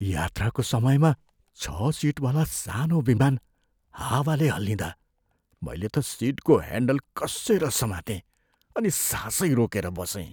यात्राको समयमा छ सिटवाला सानो विमान हावाले हल्लिँदा मैले त सिटको ह्यान्डल कस्सेर समातेँ अनि सासै रोकेर बसेँ।